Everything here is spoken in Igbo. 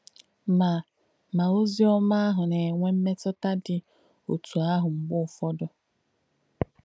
Mà Mà ozì ómà àhù nà-ènwé m̀mètụ̀tà dí òtù àhù mgbé òfọ̀dū.